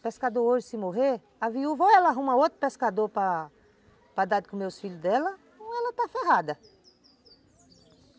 O pescador hoje se morrer, a viúva, ou ela arruma outro pescador para para dar de comer os filhos dela, ou ela está ferrada.